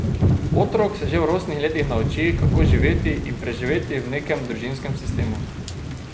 Otrok se že v rosnih letih nauči, kako živeti in preživeti v nekem družinskem sistemu.